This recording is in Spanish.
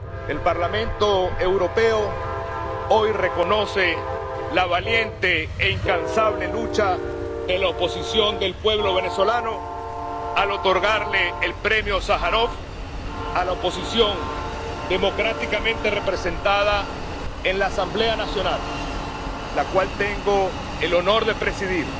El Parlamento Europeo hoy reconoce la valiente e incansable lucha de la oposición del pueblo venezolano al otorgarle el Premio Sájarov a la oposición democráticamente representada en la Asamblea Nacional ―la cual tengo el honor de presidir—